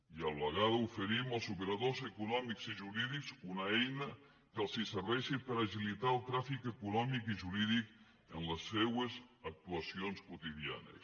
i a la vegada oferim als operadors econòmics i jurídics una eina que els serveixi per agilitar el tràfic econòmic i jurídic en les seves actuacions quotidianes